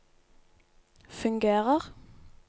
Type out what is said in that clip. fungerer